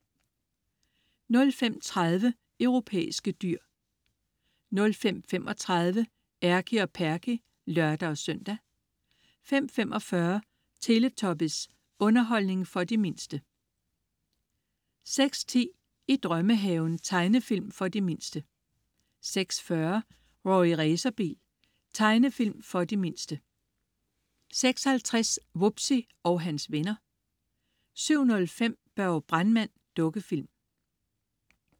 05.30 Europæiske dyr 05.35 Erky og Perky (lør-søn) 05.45 Teletubbies. Underholdning for de mindste 06.10 I drømmehaven. Tegnefilm for de mindste 06.40 Rorri Racerbil. Tegnefilm for de mindste 06.50 Wubbzy og hans venner 07.05 Børge brandmand. Dukkefilm